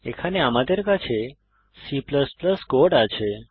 এখানে আমাদের কাছে C কোড আছে